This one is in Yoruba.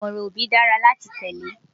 Ìmọ̀ràn òbí dára láti tẹ́lé